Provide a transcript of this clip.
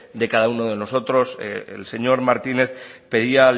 de cada uno de nosotros el señor martínez pedía